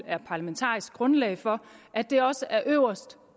er parlamentarisk grundlag for at det også er øverst